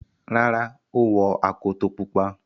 Rárá, ó wọ akoto pupa.